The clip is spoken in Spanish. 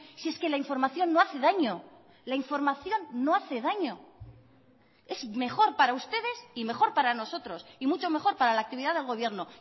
si es que la información no hace daño la información no hace daño es mejor para ustedes y mejor para nosotros y mucho mejor para la actividad del gobierno